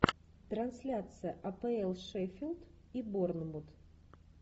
трансляция апл шеффилд и борнмут